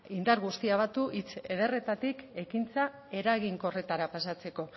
indar guztiak batu hitz ederretatik ekintza eraginkorretara pasatzeko